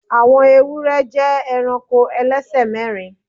Àwọn ewúrẹ jẹ́ eranko ẹlẹ́sẹ̀ mẹ́rin